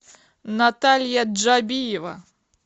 наталья джабиева